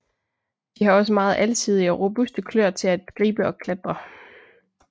De har også meget alsidige og robuste kløer til at gribe og klatre